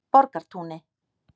Borgartúni